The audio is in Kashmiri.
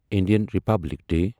Indian republic D